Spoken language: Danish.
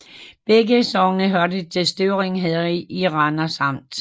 Begge sogne hørte til Støvring Herred i Randers Amt